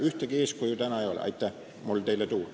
Ühtegi eeskuju ei ole mul täna teile välja tuua.